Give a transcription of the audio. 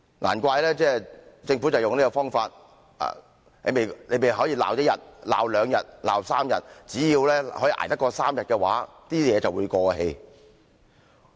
難怪政府用這種方法，你們儘管去罵一些人，罵兩天、3天，只要捱過3天的話，事情便會過氣。